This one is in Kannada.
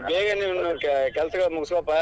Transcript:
ಹೇ ಬೇಗ ನೀನು ನೀನ್ ಕೆಲಸಗಳನ್ನ ಮುಗಿಸ್ಕೊಪಾ.